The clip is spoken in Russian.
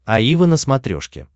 аива на смотрешке